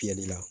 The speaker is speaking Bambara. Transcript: Fiyɛli la